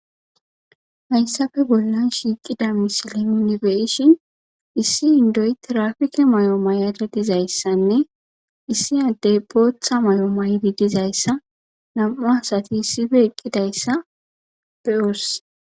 Hassappe bollan shiiqida missile nuni bei'ishin issi indoy tiraffikke maayo mayada diizaysanne issi addey booththa maayo mayi dizayssane nam'u assati issippe eqqidayssa be'ossi.